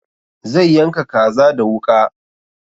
Zai yanka kaza da wuƙa